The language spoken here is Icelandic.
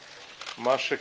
afsögn